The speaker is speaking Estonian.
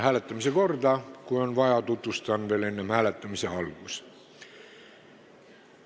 Hääletamise korda tutvustan veel, kui on vaja, enne hääletamise algust.